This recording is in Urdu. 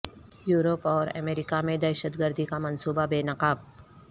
یورپ اور امریکہ میں دہشت گردی کا منصوبہ بے نقاب